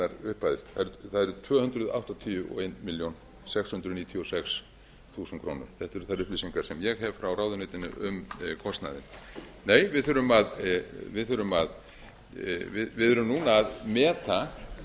upphæðir það eru tvö hundruð áttatíu og eina milljón sex hundruð níutíu og sex þúsund krónur þetta eru þær upplýsingar sem ég hef frá ráðuneytinu um kostnaðinn nei við erum núna að meta